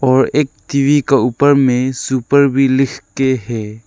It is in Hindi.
और एक टी_वी के ऊपर में सुपर भी लिख के है।